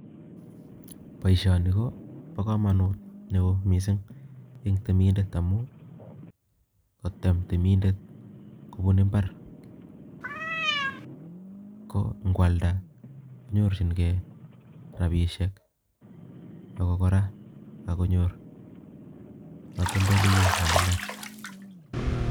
Boisonii Koo bo komonut neo mising eng temindet amuu ngo tem temindet kobun ibaar ko ngo alda ko nyorchinge rabishek ak ko kora Ang konyor katoltolewek eng ibaar